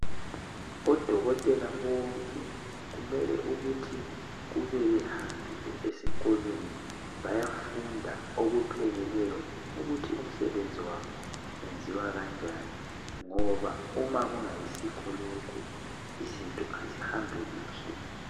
Odokotela bonke kumele ukuthi kube behambile esikolweni baya funda okupheleleyo ukuthi umsebenzi wenziwa kanjani ngoba uma kungayisikho lokho izinto azihambi kuhle